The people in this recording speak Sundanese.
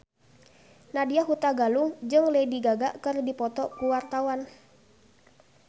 Nadya Hutagalung jeung Lady Gaga keur dipoto ku wartawan